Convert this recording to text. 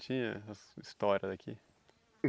Tinha essas histórias aqui?